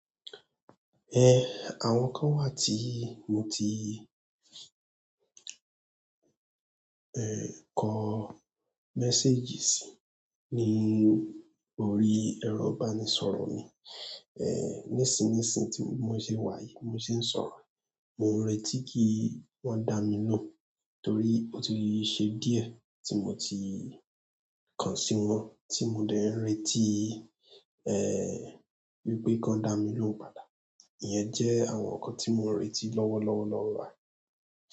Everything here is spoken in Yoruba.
Eh, àwọn kan wà tí mo ti, eh, kọ message si ni orí ẹrọ ìbánisọ̀rọ̀ mi eh, nísìnsìnyí tí mo ṣe wá èyí mo sì ń sọ̀rọ̀ ẹ. Mo n retí kí wọ́n dá mi lóhùn torí ó ti ṣe díẹ̀ tí mo ti kàn sí wọn tí mo dẹ̀ n retí, eh, wípé kàn dá mi lóhùn padà. Iyẹn jẹ́ àwọn ǹkan tí mo n retí lọ́wọ́ lọ́wọ́ lọ́wọ́ rà.